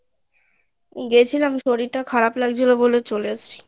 গেছিলাম শরীরটা খারাপ লাগছিল বলে চলে আসছি